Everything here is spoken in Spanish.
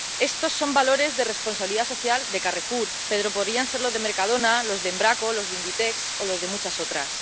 Estos son valores de responsabilidad social de Carrefour, pero podrían ser los de Mercadona, los de Embraco, los de Inditex o los de muchas otras.